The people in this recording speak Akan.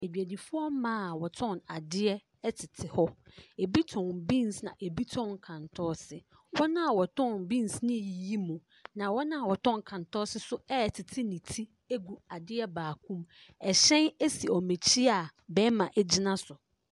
Adwadifoɔ mmaa a wɔtɔn adeɛ tete hɔ. Ɛbi tɔn beans na ɛbi tɔn kantɔɔse. Wɔn a wɔtɔn beans no reyiyi mu. Na wɔn a wɔtɔn kantɔɔse nso retete ne ti agu adeɛ baako mu. Ɛhyɛn si wɔn akyi a barima gyina so.